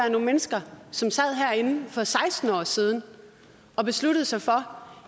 nogle mennesker som sad herinde for seksten år siden og besluttede sig for